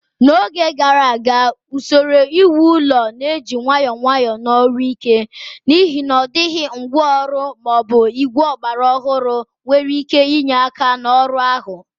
N'oge gara aga, usoro iwu ụlọ na-eji nwayọọ nwayọọ na ọrụ ike, n'ihi na ọ dịghị ngwa ọrụ ma ọ bụ igwe ọgbara ọhụrụ nwere ike inye aka n'ọrụ ahụ.